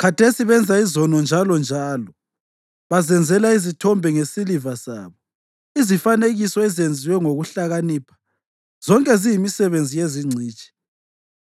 Khathesi benza izono njalonjalo; bazenzela izithombe ngesiliva sabo, izifanekiso ezenziwe ngokuhlakanipha, zonke ziyimisebenzi yezingcitshi.